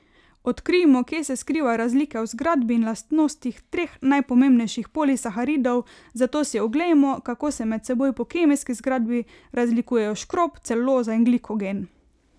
Odkrijmo, kje se skrivajo razlike v zgradbi in lastnostih treh najpomembnejših polisaharidov, zato si oglejmo, kako se med seboj po kemijski zgradbi razlikujejo škrob, celuloza in glikogen.